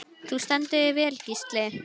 Þú stendur þig vel, Gísli!